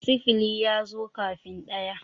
sifili ya zo kafin ɗaya